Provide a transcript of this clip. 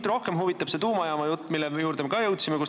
Aga rohkem huvitab mind see tuumajaamajutt, mille juurde me ka jõudsime.